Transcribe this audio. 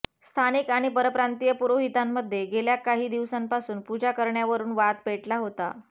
स्थानिक आणि परप्रांतीय पुरोहितामध्ये गेल्या काही दिवसांपासून पूजा करण्यावरून वाद पेटला होता